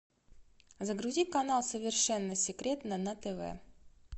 загрузи канал совершенно секретно на тв